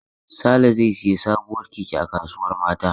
Sale zai sayi sabuwar keke a kasuwar Mata.